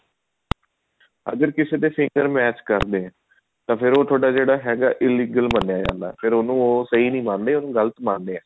ਅਗਰ ਕਿਸੇ ਦੇ finger match ਕਰਨੇ ਆ ਤਾਂ ਫ਼ੇਰ ਉਹ ਥੋੜਾ ਜਿਹੜਾ ਹੈਗਾ ਉਹ illegal ਮੰਨਿਆ ਜਾਂਦਾ ਫ਼ੇਰ ਉਹਨੂੰ ਉਹ ਸਹੀ ਨੀ ਮੰਨਦੇ ਉਹਨੂੰ ਗਲ ਮੰਨਦੇ ਆ